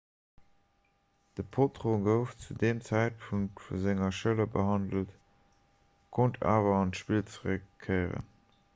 de potro gouf zu deem zäitpunkt un senger schëller behandelt konnt awer an d'spill zeréckkéieren